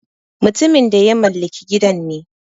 Mutumin da ya mallaki gidan ne.